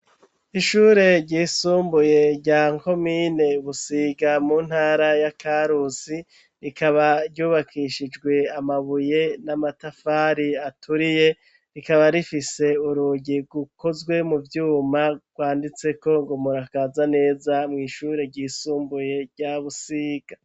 Ishure ryisumbuye rya komine Busiga mu ntara ya karusi, rikaba ryubakishijwe amabuye n'amatafari aturiye, rikaba rifise urugi rukozwe mu vyuma rwanditseko ngo:" Murakaza neza mw'ishure ryisumbuye rya Busiga."